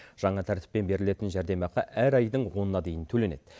жаңа тәртіппен берілетін жәрдемақы әр айдың онына дейін төленеді